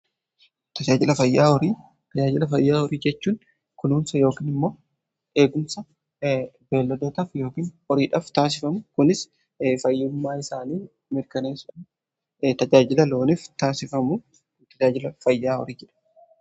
Tajaajila fayyaa horii jechuun kunuunsa yookiin immoo eegumsa beelladootaf yookiin horiidhaaf taasifamu. Kunis fayyimmaa isaanii mirkanesa tajaajila looniif taasifamu tajaajila fayyaa horii jedhama.